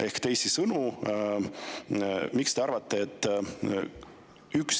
Ehk teisisõnu: miks te arvate, et ükski …